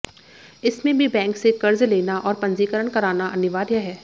इसमें भी बैंक से कर्ज लेना और पंजीकरण कराना अनिवार्य है